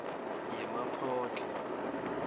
yemaphodlha